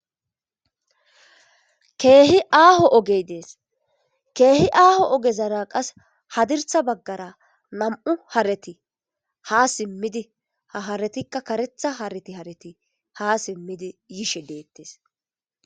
Keehi aaho ogey dees keehi aaho ogezara qas hadirtha baggara nam7u hareti ha simmidi ha haratikka karetha hareti harati ha simmidi yishe deettes